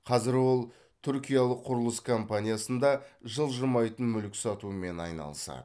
қазір ол түркиялық құрылыс компаниясында жылжымайтын мүлік сатумен айналысады